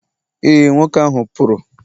e, nwoke ahụ pụrụ